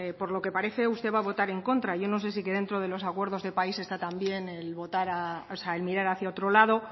por lo que parece usted va a votar en contra yo no sé si dentro de los acuerdos de país está también el mirar hacia otro lado